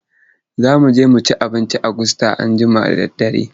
Za mu je mu ci abinci a gusto da daddare.